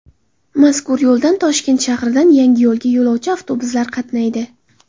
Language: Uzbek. Mazkur yo‘ldan Toshkent shahridan Yangiyo‘lga yo‘lovchi avtobuslar qatnaydi.